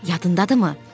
Yadındadırmı?